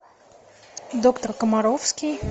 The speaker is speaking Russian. доктор комаровский